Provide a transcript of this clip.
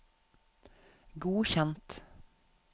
godkjent